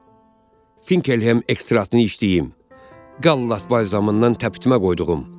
Bax, Finkelhem ekstraktını içdiyim, gallat balzamından təpitmə qoyduğum.